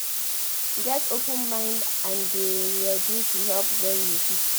Get open mind and dey ready to help when you fit